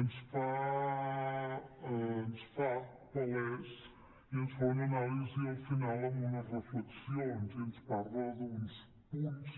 ens fa palès i ens fa una anàlisi al final amb unes reflexions i ens parla d’uns punts